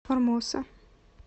формоса